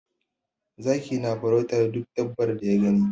Zaki na farautar duk dabbar da ya gani.